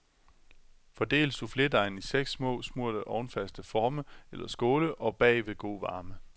Fordel souffledejen i seks små, smurte, ovnfaste forme eller skåle og bag ved god varme.